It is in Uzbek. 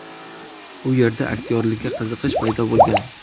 U yerda aktyorlikka qiziqish paydo bo‘lgan.